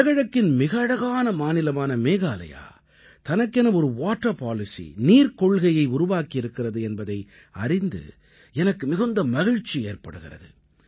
வடகிழக்கின் மிக அழகான மாநிலமான மேகாலயா தனக்கென ஒரு வாட்டர் policy நீர்க் கொள்கையை உருவாக்கியிருக்கிறது என்பதை அறிந்து எனக்கு மிகுந்த மகிழ்ச்சி ஏற்படுகிறது